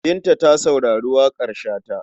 Binta ta saurari waƙar Shata.